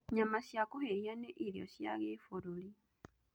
Nyama cia kũhĩhia nĩ irio cia gĩbũrũri.